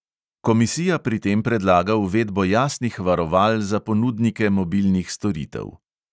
Komisija pri tem predlaga uvedbo jasnih varoval za ponudnike mobilnih storitev.